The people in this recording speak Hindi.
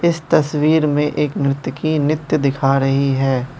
इस तस्वीर में एक नृतकी की नित्य दिखा रही है।